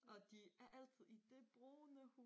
Og de er altid i det brune humør